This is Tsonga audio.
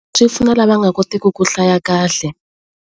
Swi pfuna lava nga kotiki ku hlaya kahle.